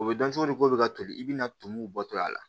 O bɛ dɔn cogo di ko bɛ ka toli i bɛna tumuw bɔtɔ a la